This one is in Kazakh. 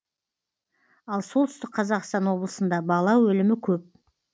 ал солтүстік қазақстан облысында бала өлімі көп